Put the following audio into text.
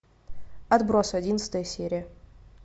отбросы одиннадцатая серия